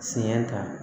Sɛgɛn kan